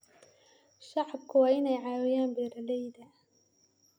Shacabku waa inay caawiyaan beeralayda.